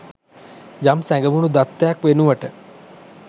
යම් සැඟවුණු දත්තයක් වෙනුවට